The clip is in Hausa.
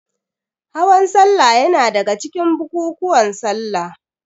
Hawan salla yana daga cikin bukukuwan salla.